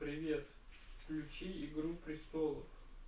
привет включи игру престолов